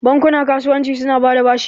Bankuna .kasuwanci su na bada bashi